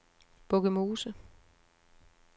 Bukkemose